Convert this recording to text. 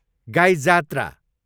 गाई जात्रा